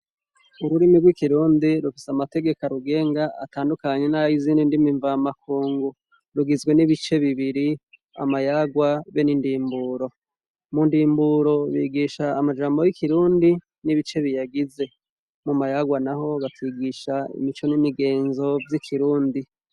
Ururimi rw'ikirundi rufise amategeko arugenga atandukanye nayizindi ndimi mva makungu rugizwe n'ibice bibiri amayarwa be n'indimburo mu ndimburi bigish amajambo y'ikirundi n'ibice biyagize mu mayarwa naho bakigisha imico n'imigenzo vy'ikirundi.